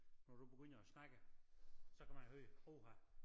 Når du begynder at snakke så kan man høre åha